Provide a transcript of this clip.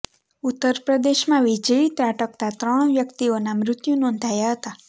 ઉત્તર પ્રદેશમાં વીજળી ત્રાટકતાં ત્રણ વ્યક્તિનાં મૃત્યુ નોંધાયા હતા